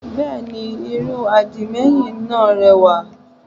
Bẹ́ẹ̀ni irun àdìmẹ́yìn náà rẹwà